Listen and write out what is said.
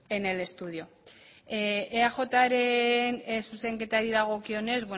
en el estudio eajren zuzenketari dagokienez